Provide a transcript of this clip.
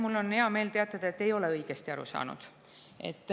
Mul on hea meel teatada, et te ei ole õigesti aru saanud.